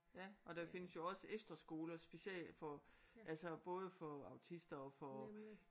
Ja og der findes jo også efterskoler special for altså både for autister og for